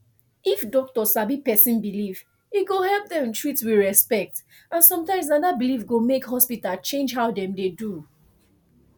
if doctor sabi person belief e go help dem treat with respect and sometimes na that belief go make hospital change how dem dey do